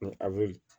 Ni a be